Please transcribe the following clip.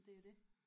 Det er det